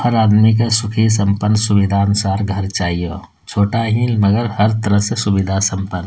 हर आदमी के सुखी सम्पन्न सुविधा अनुसार घर चाहियो छोटा ही मगर हर तरह से सुविधा सम्पन्न।